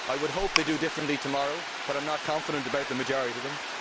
I would hope they do differently tomorrow but I am not confident about the majority of them.